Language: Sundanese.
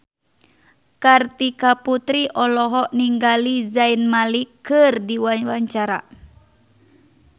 Kartika Putri olohok ningali Zayn Malik keur diwawancara